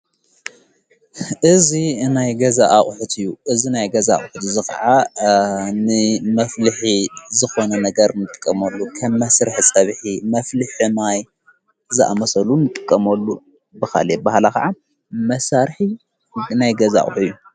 እዚ ናይ ገዛ ኣቕሕት እዩ እዘ ናይ ገዛ ኣቝሕቲ ዝኸዓ ን መፍልኂ ዝኾነ ነገር ንጥቀሞሉ ኸም መሥርሕ ሰብኂ መፍልሕሕ ማይ ዝኣመሰሉ ምጥቀመሉ ብኻልእ አበሀ ህላ ኸዓ መሣርኂ ናይገዛ አቕሁ እዩ::